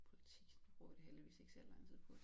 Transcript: Politik det bruger vi da heldigvis ikke særlig lang tid på